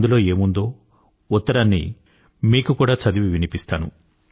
అందులో ఏం ఉందో ఉత్తరాన్ని మీకు కూడా చదివి వినిపిస్తాను